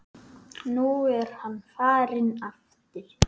Nú er hann farinn aftur